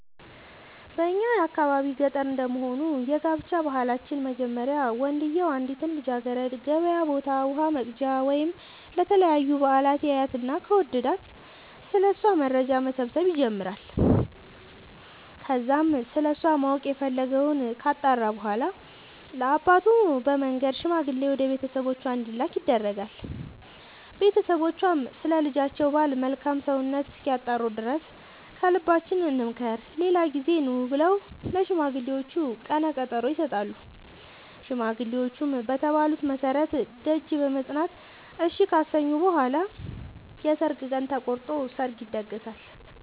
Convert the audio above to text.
በእኛ የአካባቢ ገጠር እንደመሆኑ የጋብቻ ባህላችን መጀመሪያ ወንድዬው አንዲትን ልጃገረድ ገበያ ቦታ ውሃ ወቅጃ ወይም ለተለያዩ በአላት ያያትና ከወደዳት ስለ እሷ መረጃ መሰብሰብ ይጀምራይ ከዛም ስለሷ ማወቅ የፈለገወን ካጣራ በኋላ ለአባቱ በመንገር ሽማግሌ ወደ ቤተሰቦቿ እንዲላክ ያደርጋል ቦተሰቦቿም ስለ ልጃቸው ባል መልካም ሰውነት እስኪያጣሩ ድረስ ከልባችን እንምከር ሌላ ጊዜ ኑ ብለው ለሽማግሌዎቹ ቀነቀጠሮ ይሰጣሉ ሽማግሌዎቹም በተባሉት መሠረት ደጅ በመፅና እሺ ካሰኙ በኋላ የሰርግ ቀን ተቆርጦ ሰርግ ይደገሳል።